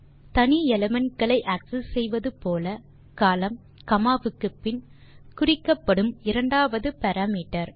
தனி எலிமெண்ட் களை ஆக்செஸ் செய்வது போல கோலம்ன் காமா வுக்குப்பின் குறிக்கப்படும் இரண்டாவது பாராமீட்டர்